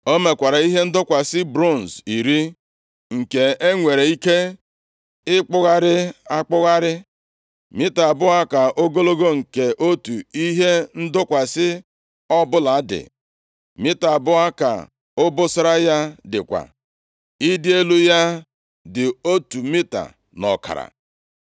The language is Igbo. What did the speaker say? O mekwara ihe ndọkwasị bronz iri, nke e nwere ike ịkpụgharị akpụgharị. Mita abụọ ka ogologo nke otu ihe ndọkwasị ọbụla dị, mita abụọ ka obosara ya dịkwa; ịdị elu ya dị otu mita na ọkara.